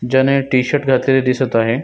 ज्यान हे टी-शर्ट घातलेल दिसत आहे.